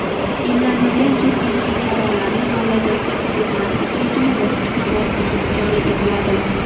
emlanmagan chet ellik fuqarolarni mamlakatga kirgizmaslik rejimi bosqichma-bosqich joriy etiladi.